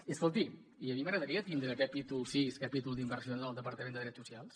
i escolti i a mi m’agradaria tindre capítol vi capítol d’inversions del departament de drets socials